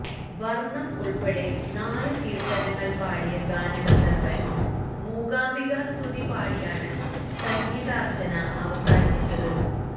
വര്ണം ഉള്പ്പെടെ നാലുകീര്ത്തനങ്ങള് പാടിയ ഗാനഗന്ധര്വന് മൂകാംബികാ സ്തുതി പാടിയാണ് സംഗീതാര്ച്ചന അവസാനിപ്പിച്ചത്